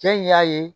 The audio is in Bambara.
Cɛ in y'a ye